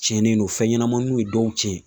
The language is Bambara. Cɛnnen don fɛn ɲɛnamaninw ye dɔw tiɲɛ.